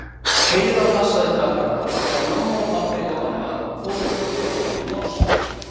Heiða passaði krakkana þegar mamma og pabbi og amma fóru til að fylgja honum Lása.